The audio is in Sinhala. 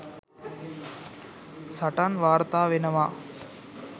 සටන් වාර්තා වෙනවා.